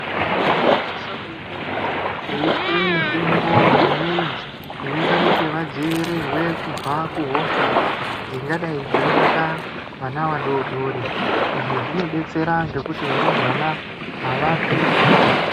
Vana vano sisa kunge veipuwe mitombo imweni inota kuti vadzivirirwe kubva kuhosha dzinga dai dzei bata vana vadodori izvi zvino betsera ngekuti varumbwana avafi.